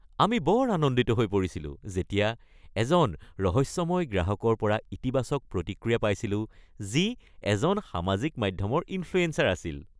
আমি বৰ আনন্দিত হৈ পৰিছিলো যেতিয়া আমি এজন ৰহস্যময় গ্ৰাহকৰ পৰা ইতিবাচক প্ৰতিক্ৰিয়া পাইছিলো যি এজন সামাজিক মাধ্যমৰ ইনফ্লুয়েঞ্চাৰ আছিল।